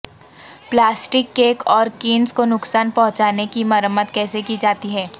plastic cake اور cans کو نقصان پہنچانے کی مرمت کیسے کی جاتی ہے